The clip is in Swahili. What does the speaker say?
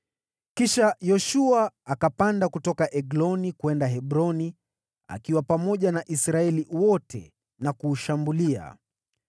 Kisha Yoshua akapanda kutoka Egloni kwenda Hebroni akiwa pamoja na Israeli yote na kuushambulia.